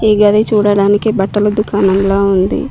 ఈ గది చూడడానికి బట్టల దుకాణంలా ఉంది.